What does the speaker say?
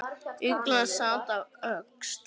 Ugla sat á öxl.